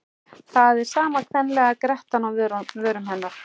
Það er sama kvenlega grettan á vörum hennar.